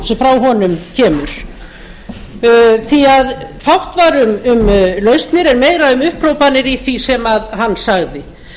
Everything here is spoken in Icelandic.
sem frá honum kemur því fátt var um lausnir en meira um upphrópanir í því sem hann sagði